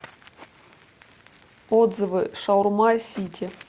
отзывы шаурма сити